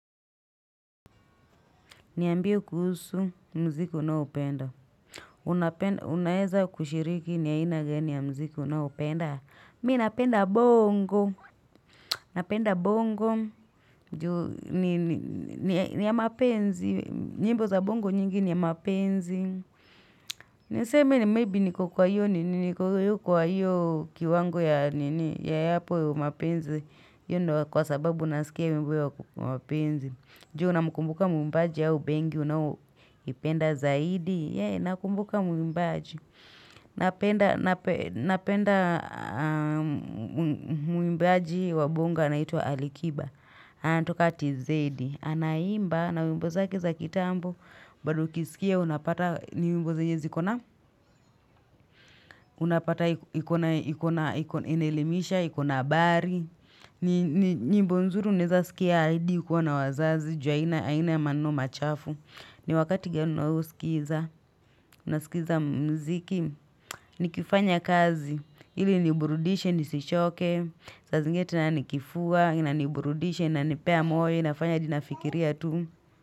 Niambie kuhusu mziki na upenda. Unaeza kushiriki ni ya ina gani ya mziki na upenda. Mi napenda bongo. Napenda bongo. Juu niya mapenzi. Nyimbo za bongo nyingi niya mapenzi. Niseme ni maybe niko kwa iyo nini. Niko kwa yyo kiwango ya yapo ya mapenzi. Iyo ndo kwa sababu nasikia wimbo ya mapenzi. Juu na mkumbuka mbaji yao bengi. Unao ipenda zaidi Nakumbuka muimbaji Napenda Napenda Muimbaji wabonga na ito alikiba anatoka tizedi Anaimba na umbo zaki za kitambo Badu kisikia unapata ni umbo za nyezi ikona Unapata ikona Inelemisha, ikona habari ni umbo nzuri Uneza skia hadi, ukiwa na wazazi Ju, haina ya maneno machafu ni wakati gano usikiza, nasikiza mziki Nikifanya kazi, hili niburudishe, nisishoke Sazingine na nikifua, nina niburudishe, nanipea mwoyo, nafanya jinafikiria tu.